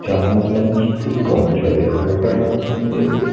জাহাজ লঞ্চ খুবই কম চলে নৌকার মাধ্যমে--